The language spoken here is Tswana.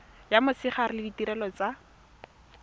ya motshegare le ditirelo tsa